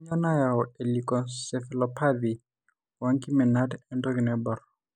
Kainyio nayau eLeukoencephalopathye oenkiminata entoki naibor?